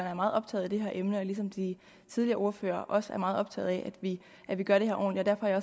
er meget optaget af det her emne og ligesom de tidligere ordførere også er meget optaget af at vi gør det her ordentligt derfor er